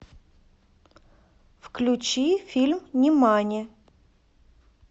включи фильм нимани